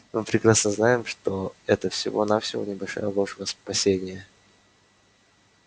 мы прекрасно знаем что это всего-навсего небольшая ложь во спасение